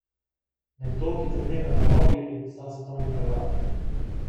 Nekdo, ki trenira na Rogli, je postal svetovni prvak!